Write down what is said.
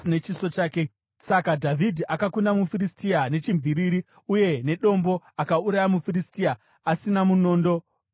Saka Dhavhidhi akakunda muFiristia nechimviriri uye nedombo; akauraya muFiristia asina munondo muruoko rwake.